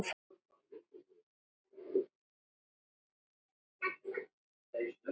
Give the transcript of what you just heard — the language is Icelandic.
Kannski lengur.